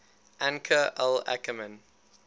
anchor al ackerman